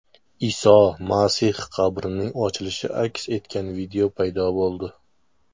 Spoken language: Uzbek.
Iso Masih qabrining ochilishi aks etgan video paydo bo‘ldi .